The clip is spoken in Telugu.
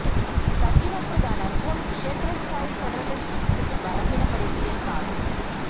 తగ్గినపుడు దాని అర్థం క్షేత్ర స్థాయి ఫెడరలిస్టు స్థితి బలహీనపడిందని కాదు